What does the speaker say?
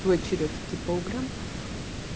твой черёд идти по углям